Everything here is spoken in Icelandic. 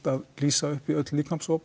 að lýsa upp í öll